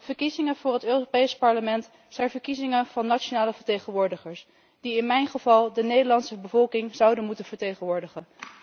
Verkiezingen voor het Europees Parlement zijn verkiezingen van nationale vertegenwoordigers die in mijn geval de Nederlandse bevolking zouden moeten vertegenwoordigen.